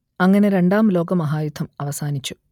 അങ്ങനെ രണ്ടാം ലോകമഹായുദ്ധം അവസാനിച്ചു